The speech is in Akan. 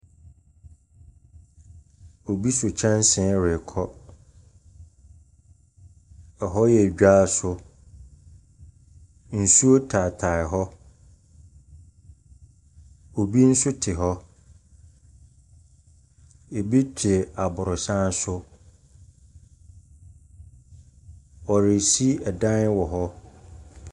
Obi so kyɛnse rekɔ, hɔ yɛ dwa so, nsuo taatae hɔ, obi nso te hɔ, bi te aborɔsan so, wɔrisi dan wɔ hɔ.